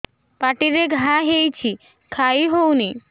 ପାଟିରେ ଘା ହେଇଛି ଖାଇ ହଉନି